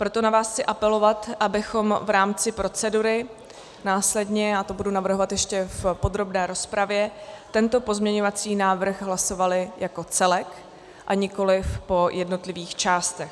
Proto na vás chci apelovat, abychom v rámci procedury následně, já to budu navrhovat ještě v podrobné rozpravě, tento pozměňovací návrh hlasovali jako celek, a nikoliv po jednotlivých částech.